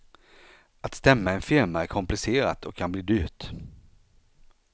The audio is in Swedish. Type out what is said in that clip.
Att stämma en firma är komplicerat och kan bli dyrt.